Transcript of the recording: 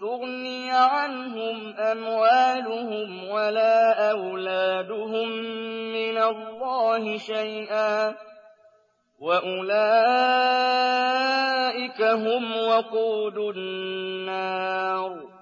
تُغْنِيَ عَنْهُمْ أَمْوَالُهُمْ وَلَا أَوْلَادُهُم مِّنَ اللَّهِ شَيْئًا ۖ وَأُولَٰئِكَ هُمْ وَقُودُ النَّارِ